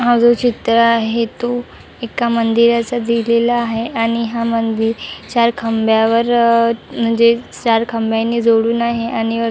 हा जो चित्र आहे तो एका मंदिराचा दिलेला आहे आणि हा मंदिरच्या खांब्यावर म्हणजे चार खांब्यानि जोडून आहे आणि वर --